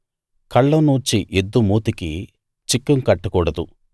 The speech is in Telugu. కళ్ళం నూర్చే ఎద్దు మూతికి చిక్కం కట్టకూడదు